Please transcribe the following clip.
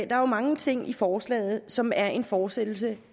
der er mange ting i forslaget som er en fortsættelse